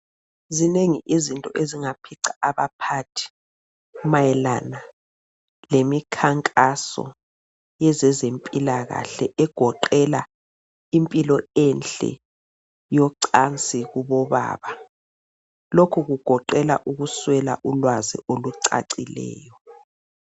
Zinengi izinto ezingaphica abaphathi mayelana lemikhankaso yezezempilakahle egoqela impilo enhle yocansi kubobaba. Lokhu kugoqela ukuswela ulwazi olicacileyo.